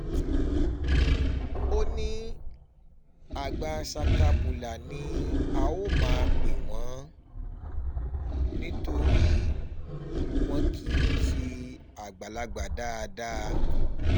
ó ní àgbà sakabula ni a um ó máa pè wọ́n nítorí wọn kì í um ṣe àgbàlagbà dáadáa